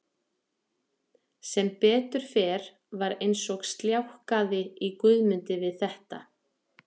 Sem betur fer var eins og sljákkaði í Guðmundi við þetta.